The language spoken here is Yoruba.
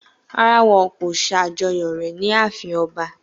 Rárá, wọn kò ṣàjọyọ̀ rẹ̀ ní ààfin ọba